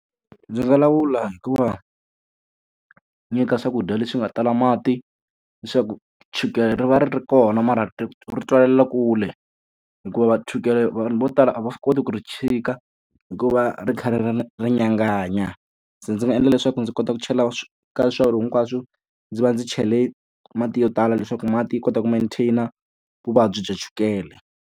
Ndzi nga lawula hi ku va nyika swakudya leswi nga tala mati, leswaku chukele ri va ri ri kona mara ri ri tswalela kule. Hikuva chukele vanhu vo tala a va swi koti ku ri tshika hikuva ri kha ri ri ri nyanganya. Se ndzi nga endla leswaku ndzi kota ku chela ka hinkwaswo, ndzi va ndzi chele mati yo tala leswaku mati ya kota ku mantain-a vuvabyi bya chukele.